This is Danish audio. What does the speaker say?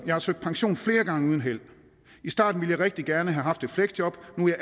har søgt pension flere gange uden held i starten ville jeg rigtig gerne have haft et fleksjob nu er